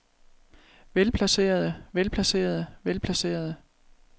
velplacerede velplacerede velplacerede